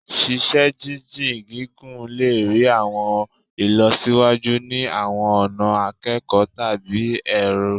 Ṣiṣe-jinjin gigun le rii awọn ilọsiwaju ni awọn ọna ikẹkọ tabi ẹrọ